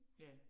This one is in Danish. Ja